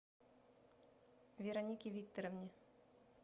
веронике викторовне